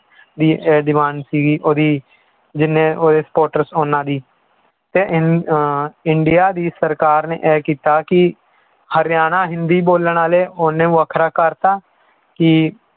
ਵੀ ਇਹ demand ਸੀਗੀ ਉਹਦੀ ਜਿੰਨੇ ਉਹਦੇ supporters ਉਹਨਾਂ ਦੀ ਤੇ ਇੰਨ~ ਅਹ ਇੰਡੀਆ ਦੀ ਸਰਕਾਰ ਨੇ ਇਹ ਕੀਤਾ ਕਿ ਹਰਿਆਣਾ ਹਿੰਦੀ ਬੋਲਣ ਵਾਲੇ ਉਹਨੇ ਵੱਖਰਾ ਕਰ ਦਿੱਤਾ ਕਿ